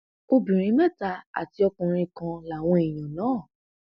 obìnrin mẹta àti ọkùnrin kan làwọn èèyàn náà